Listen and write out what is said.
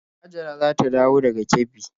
Hajara za ta dawo daga Kebbi.